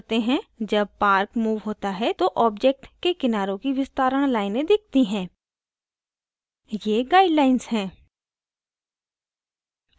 जब park moved होता है तो object के किनारों की विस्तारण लाइनें दिखती हैं ये guidelines हैं